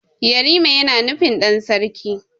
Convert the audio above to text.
Yarima yana nufin ɗan sarki.